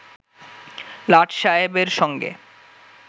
লাট সায়েবের সঙ্গে